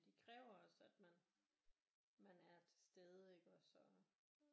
De kræver også at man at man er til stede iggås og